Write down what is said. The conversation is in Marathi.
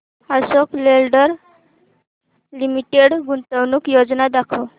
अशोक लेलँड लिमिटेड गुंतवणूक योजना दाखव